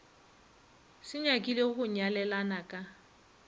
se nyakile go nyalelana ka